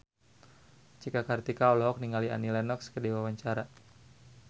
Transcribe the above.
Cika Kartika olohok ningali Annie Lenox keur diwawancara